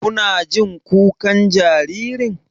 Kuna jin kukan jaririn?